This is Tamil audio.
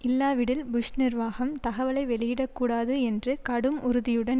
இல்லாவிடில் புஷ் நிர்வாகம் தகவலை வெளியடக்கூடாது என்று கடும் உறுதியுடன்